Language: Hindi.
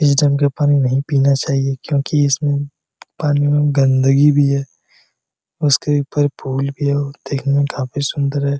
इस डैम के पानी नहीं पीना चाहिए क्योंकि इसमें पानी में गंदगी भी है उसके ऊपर पुल भी है और देखने में काफ़ी सुंदर है।